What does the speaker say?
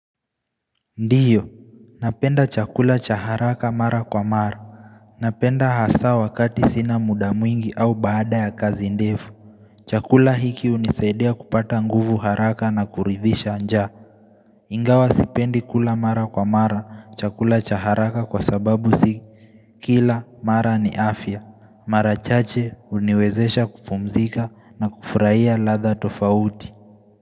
Ndiyo, napenda chakula cha haraka mara kwa mara. Napenda hasa wakati sina mudamuingi au bada ya kazi ndefu. Chakula hiki unisaidia kupata nguvu haraka na kurivisha njaa Ingawa sipendi kula mara kwa mara, chakula cha haraka kwa sababu si Kila, mara ni afya. Mara chache uniwezesha kupumzika na kufurahia ladha tofauti.